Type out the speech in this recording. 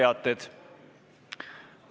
Nüüd teated.